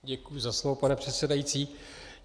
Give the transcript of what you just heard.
Děkuji za slovo, pane předsedající.